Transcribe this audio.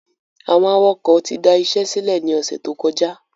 Àwọn awakọ̀ ti da isẹ́ sílẹ̀ ni ọ̀sẹ̀ tó kọjá